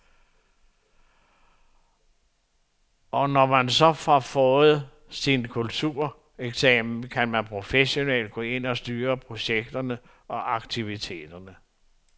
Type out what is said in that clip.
Og når man så har fået sin kultureksamen, kan man professionelt gå ind og styre projekterne og aktiviteterne.